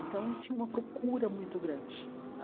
Então, tinha uma procura muito grande.